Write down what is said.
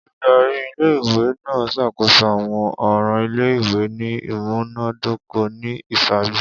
Oludari ìle-ìwe naa ṣakoso awọn ọran ile-iwe ni imunadoko ni iṣaaju.